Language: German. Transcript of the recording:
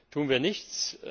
Tun wir nichts?